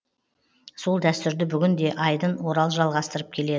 сол дәстүрді бүгін де айдын орал жалғастырып келеді